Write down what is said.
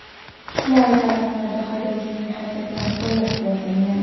Ijtimoiy tarmoqlarda haydovchining harakatlari qo‘llab-quvvatlangan.